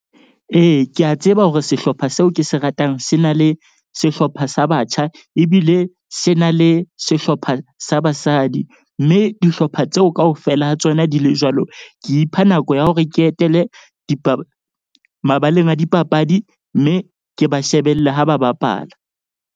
Ee, ke a tseba hore sehlopha seo ke se ratang se na le sehlopha sa batjha. Ebile se na le sehlopha sa basadi mme dihlopha tseo kaofela ha tsona di le jwalo. Ke ipha nako ya hore ke etele mabaleng a dipapadi, mme ke ba shebelle ha ba bapala.